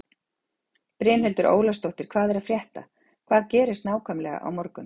Brynhildur Ólafsdóttir: Hvað er að frétta, hvað gerist nákvæmlega á morgun?